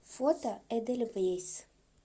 фото эдельвейс